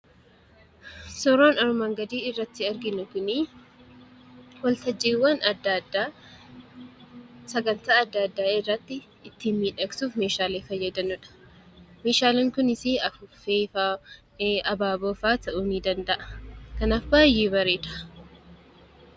Suuraan armaan gadiitti arginu kun waltajjiiwwan adda addaa sagantaa adda addaa irratti miidhagsuuf meeshaalee fayyadaniidha. Meeshaaleen kunneenis afuuffee, abaaboo fa'aa ta'uu ni danda'a. Kanaaf baay'ee bareeda.